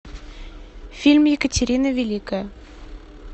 фильм екатерина великая